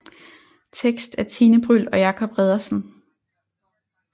Tekst af Tine Bryld og Jacob Reddersen